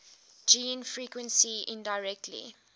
gene frequency indirectly